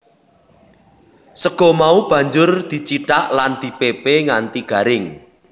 Sega mau banjur dicithak lan dipepe nganti garing